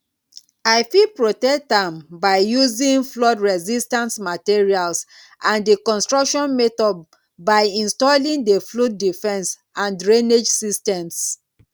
i fit protect am by using floodresistant materials and di construction methods by installing di flood defense and drainage systems